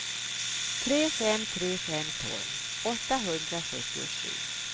tre fem tre fem tolv åttahundrasjuttiosju